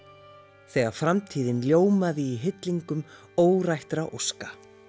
þegar framtíðin ljómaði í hillingum óska